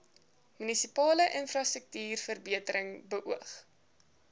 munisipale infrastruktuurverbetering beoog